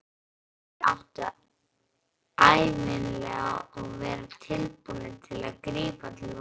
Hermennirnir áttu ævinlega að vera tilbúnir að grípa til vopna.